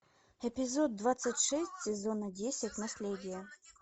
эпизод двадцать шесть сезона десять наследие